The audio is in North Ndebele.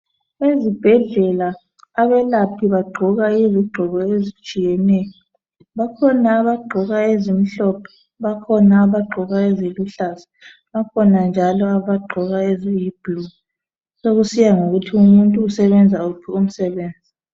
Ezibhedlela abelaphi bagqoka izigqoko ezitshiyeneyo bakhona abagqoke ezimhlophe bakhona abagqoka eziluhlaza khona abagqoka eziyi blue sokusiya ngokuthi umuntu usebenza uphi umsebenzi .